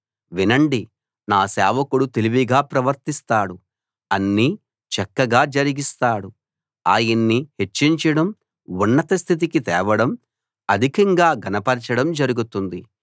వినండి నా సేవకుడు తెలివిగా ప్రవర్తిస్తాడు అన్నీ చక్కగా జరిగిస్తాడు ఆయన్ని హెచ్చించడం ఉన్నత స్థితికి తేవడం అధికంగా ఘనపరచడం జరుగుతుంది